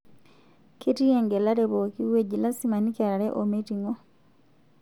Ketii engelare pooki wueji, lasima nikiarare oo meiting'o